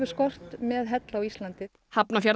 skort með hella á Íslandi